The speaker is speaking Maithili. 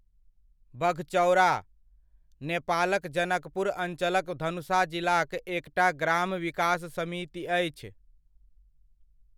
बघचौडा, नेपालक जनकपुर अञ्चलक धनुषा जिलाक एकटा ग्राम विकास समिति अछि।